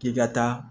K'i ka taa